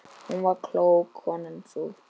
Hún var klók, konan sú.